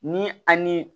Ni a ni